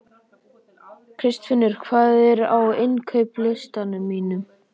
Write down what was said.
Kristfinnur, hvað er á innkaupalistanum mínum?